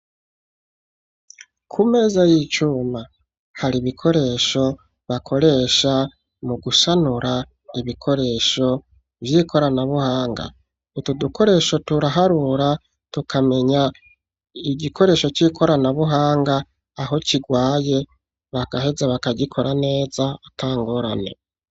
Kumeza y'icuma, hari ibikoresho bakoresha mu gusanura ibikoresho vy'ikorana buhanga, utu dukoresha turaharura tukamenya igikoresho c'ikorana buhanga aho kigwaye bagaheza bakagikora neza atangorane.